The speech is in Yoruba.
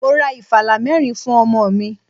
Mo ra ìfàlá mẹ́rin fún ọmọ mi.